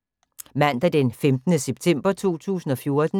Mandag d. 15. september 2014